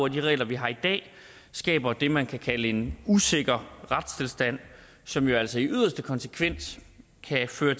at de regler vi har i dag skaber det man kan kalde en usikker retstilstand som jo altså i yderste konsekvens kan få